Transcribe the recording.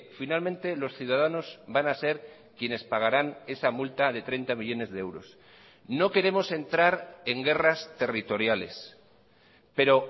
finalmente los ciudadanos van a ser quienes pagarán esa multa de treinta millónes de euros no queremos entrar en guerras territoriales pero